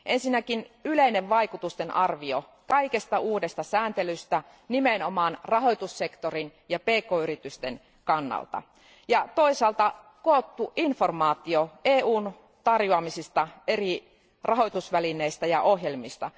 Ensinnäkin mainitaan yleinen vaikutustenarviointi kaikesta uudesta sääntelystä nimenomaan rahoitussektorin ja pk yritysten kannalta ja toisaalta koottu informaatio EUn tarjoamista eri rahoitusvälineistä ja ohjelmista.